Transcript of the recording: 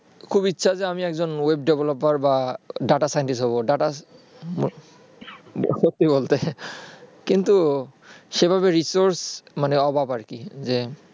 খুব ইচ্ছা যে আমি একজন web developer বা data scientist হব data সত্যি বলতে কিন্তু সেভাবে resource এর অভাব আরকি